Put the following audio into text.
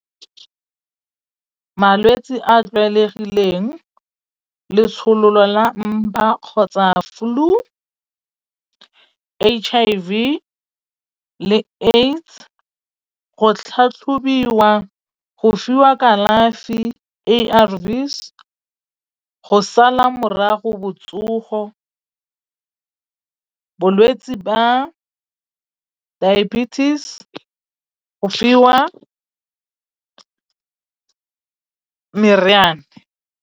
Malwetsi a tlwaelegileng, le tsholola mpa kgotsa flu, H_I_V le AIDS tlhatlhobiwa, go fiwa kalafi A_R_V's go sala morago botsogo, bolwetsi ba diabetes, go fiwa meriane.